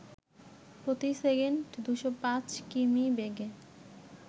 প্রতি সেকেন্ড ২০৫ কিমি বেগে